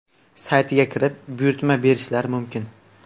saytiga kirib, buyurtma berishlari mumkin.